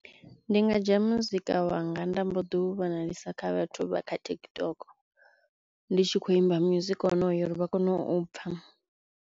Ndi nga dzhia music wanga nda mbo ḓi u vhonalisisa kha vhathu vha kha TikTok ndi tshi kho imba music wonoyo uri vha kone u pfha.